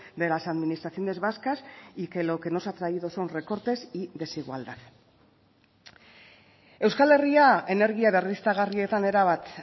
de las administraciones vascas y que lo que nos ha traído son recortes y desigualdad euskal herria energia berriztagarrietan erabat